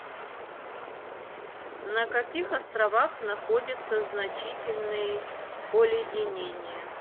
на каких островах находятся значительные оледенения